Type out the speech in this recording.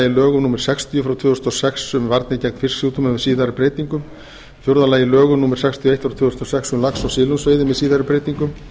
lögum númer sextíu tvö þúsund og sex um varnir gegn fisksjúkdómum með síðari breytingum fjórða lögum númer sextíu og eitt tvö þúsund og sex um lax og silungsveiði með síðari breytingum